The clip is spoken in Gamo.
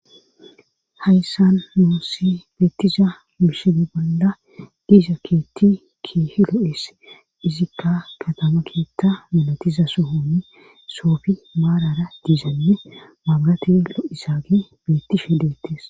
Hayssan moossi beettiza mishene bolda giiza keetti kihilo7es izikka katama keettha milotiza sohoni soofi maarara diizanne mangatilo7isaagi beettishe hedeettes